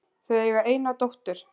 Þau eiga eina dóttur